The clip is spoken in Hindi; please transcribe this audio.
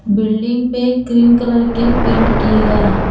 बिल्डिंग पे क्रीम कलर के पेंट किए गए हैं।